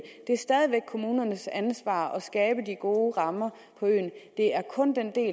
det er stadig væk kommunernes ansvar at skabe de gode rammer på øen det er kun den del